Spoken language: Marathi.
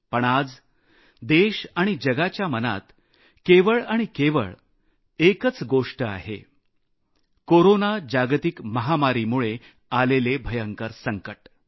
पण आज देश आणि जगाच्या मनात केवळ आणि केवळ एकच गोष्ट आहे कोरोना जागतिक महामारीमुळे आलेले भयंकर संकट